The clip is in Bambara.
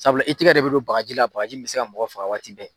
Sabula i tigɛ de bɛ don bagaji la, bagaji min bɛ se ka mɔgɔ faga waati bɛɛ.